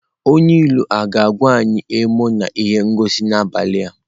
Onye ilu a ga-akwa anyị emo na ihe ngosi n'abalị a?